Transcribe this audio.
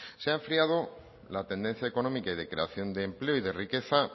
se ha enfriado la tendencia económica y de creación de empleo y de riqueza